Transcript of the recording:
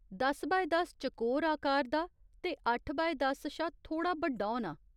दस बाय दस चकोर आकार दा ते अट्ठ बाय दस शा थोह्ड़ा बड्डाक्टर होना।